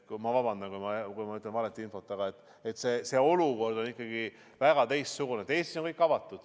Ma vabandan, kui ma jagan valet infot, aga see olukord on ikkagi väga teistsugune.